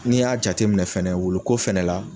N'i y'a jate minɛ fɛnɛ wulu ko fɛnɛ la